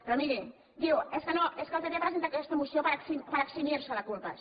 però miri diu és que el pp presenta aquesta moció per eximir se de culpes